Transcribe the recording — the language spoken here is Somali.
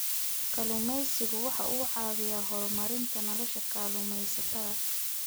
Kalluumaysigu waxa uu caawiyaa horumarinta nolosha kalluumaysatada.